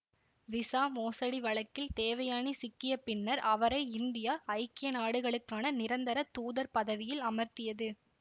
visa மோசடி வழக்கில் தேவயானி சிக்கிய பின்னர் அவரை இந்தியா ஐக்கிய நாடுகளுக்கான நிரந்தர தூதர் பதவியில் அமர்த்தியது